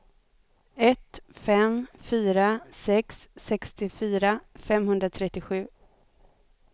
ett fem fyra sex sextiofyra femhundratrettiosju